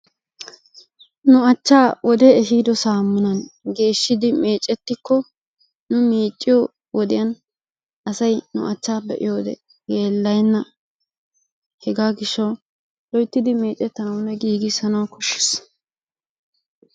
nu achaa wode ehiido saamunan geeshshidi meecikko asay nu achaa be'iyo saatiyan yeelayenna, hegaa gishawu loytidi meecetanawunne geeshshanawu koshees.